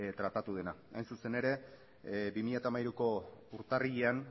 tratatu dena hain zuzen bi mila hamairuko urtarrilean